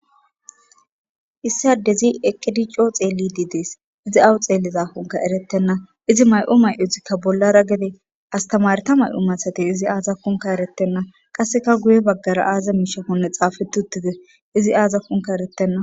Issadezi ekedi coo xeelli di dees izi awu xeelli zafunka erettenna izi may7u may7udzikka bollara gede astamareta may7u mathate izi aazakkunka erettenna qasseka guye baggara aaza miishaponne xaafetutide izi aazakkunka eretenna